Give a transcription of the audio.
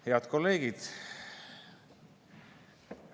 Head kolleegid!